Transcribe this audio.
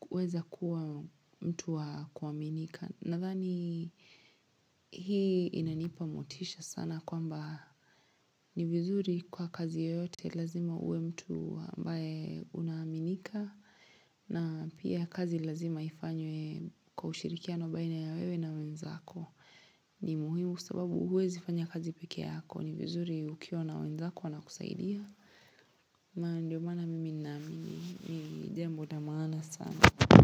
huweza kuwa mtu wa kuaminika. Nadhani hii inanipa motisha sana kwamba ni vizuri kuwa kazi yoyote lazima uwe mtu ambaye unaaminika na pia kazi lazima ifanywe kwa ushirikiano baina ya wewe na wenzako. Ni muhimu kwa sababu huwezifanya kazi pekee yako ni vizuri ukiwa na wenzako wanakusaidia Ndio maana mimi ninaamini ni jambo la maana sana.